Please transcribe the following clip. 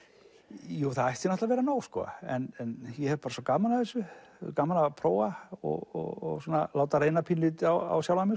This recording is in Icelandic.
jú það ætti að vera nóg en ég hef svo gaman af þessu gaman að prófa og láta reyna pínulítið á sjálfan mig